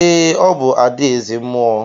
Ee, ọ bụ ada eze mmuo.